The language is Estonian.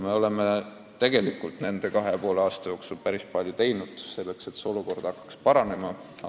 Me oleme tegelikult kahe ja poole aasta jooksul teinud päris palju, et olukord hakkaks paranema.